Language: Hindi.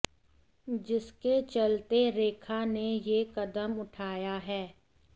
जिसके चलते रेखा ने यह कदम उठाया है